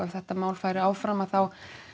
þetta mál færi áfram þá